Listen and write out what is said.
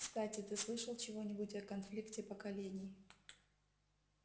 кстати ты слышал чего-нибудь о конфликте поколений